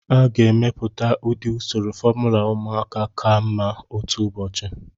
A ga-emepụta ụdị usoro fomula ụmụaka ka mma otu ụbọchị.